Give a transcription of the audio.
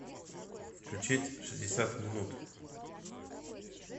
включить шестьдесят минут